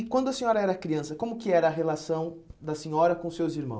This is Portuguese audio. E quando a senhora era criança, como que era a relação da senhora com seus irmãos?